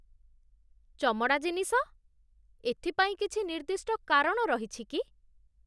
ଚମଡ଼ା ଜିନିଷ? ଏଥିପାଇଁ କିଛି ନିର୍ଦ୍ଦିଷ୍ଟ କାରଣ ରହିଛି କି?